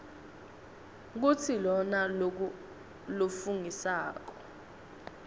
kutsi lona lofungisako